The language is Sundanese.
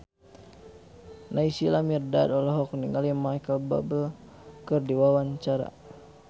Naysila Mirdad olohok ningali Micheal Bubble keur diwawancara